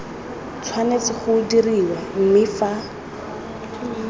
tshwanetse go dirwa mme fa